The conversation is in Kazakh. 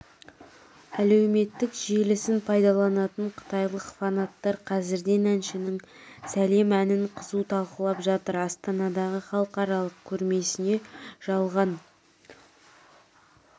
әлеуметтік желісін пайдаланатын қытайлық фанаттар қазірден әншінің сәлем әнін қызу талқылап жатыр астанадағы халықаралық көрмесіне жалған